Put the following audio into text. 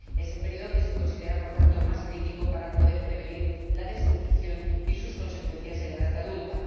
Es el período que se considera, por tanto, más crítico para poder prevenir la desnutrición y sus consecuencias en la edad adulta.